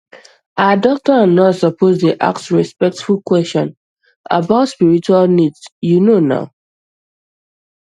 ah doctor and nurse suppose dey ask respectful question about spiritual needs you know na